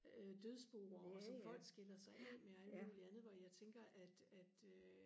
øh dødsboer og som folk skiller sig af med og alt muligt andet hvor jeg tænker at at øh